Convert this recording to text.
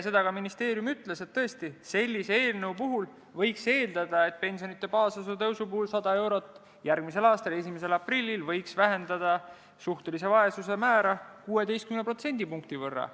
Seda ka ministeeriumi esindaja ütles, et tõesti, sellise eelnõu puhul võiks eeldada, et pensionide baasosa tõus 100 eurot järgmise aasta 1. aprillil võiks vähendada suhtelise vaesuse määra 16 protsendipunkti võrra.